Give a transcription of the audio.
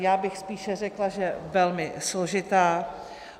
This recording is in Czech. Já bych spíš řekla, že velmi složitá.